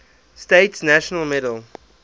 states national medal